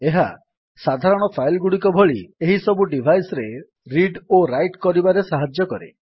ଏହା ସାଧାରଣ ଫାଇଲ୍ ଗୁଡ଼ିକ ଭଳି ଏହିସବୁ ଡିଭାଇସ୍ ରେ ରିଡ୍ ଓ ରାଇଟ୍ କରିବାରେ ସାହାଯ୍ୟ କରେ